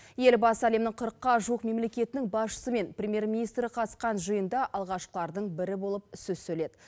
елбасы әлемнің қырыққа жуық мемлекетінің басшысы мен премьер министрі қатысқан жиында алғашқылардың бірі болып сөз сөйледі